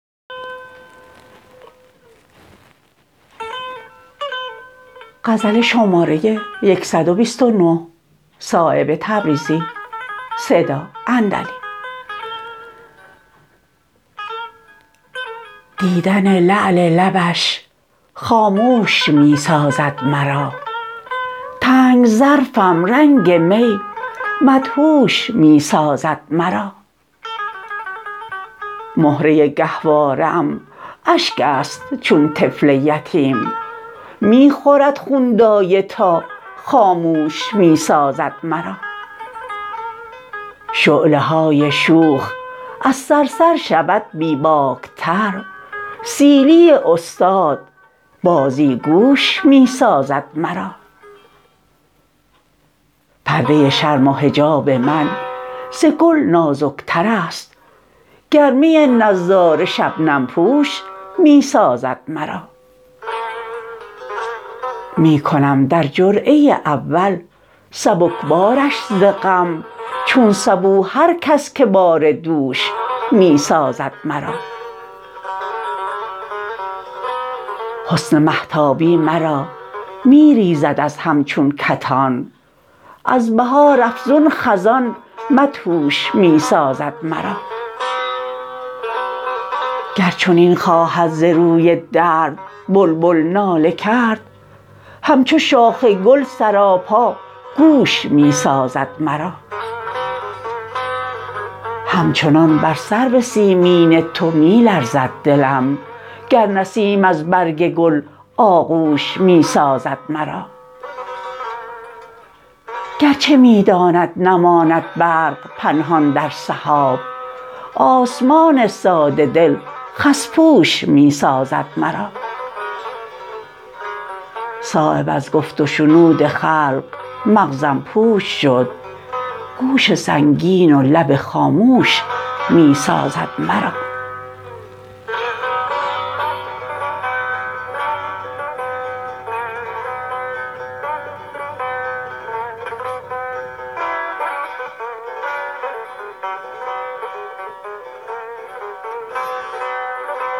دیدن لعل لبش خاموش می سازد مرا تنگ ظرفم رنگ می مدهوش می سازد مرا مهره گهواره ام اشک است چون طفل یتیم می خورد خون دایه تا خاموش می سازد مرا شعله های شوخ از صرصر شود بی باک تر سیلی استاد بازیگوش می سازد مرا پرده شرم و حجاب من ز گل نازکترست گرمی نظاره شبنم پوش می سازد مرا می کنم در جرعه اول سبکبارش ز غم چون سبو هر کس که بار دوش می سازد مرا حسن مهتابی مرا می ریزد از هم چون کتان از بهار افزون خزان مدهوش می سازد مرا گر چنین خواهد ز روی درد بلبل ناله کرد همچو شاخ گل سراپا گوش می سازد مرا همچنان بر سرو سیمین تو می لرزد دلم گر نسیم از برگ گل آغوش می سازد مرا گر چه می داند نماند برق پنهان در سحاب آسمان ساده دل خس پوش می سازد مرا صایب از گفت و شنود خلق مغزم پوچ شد گوش سنگین و لب خاموش می سازد مرا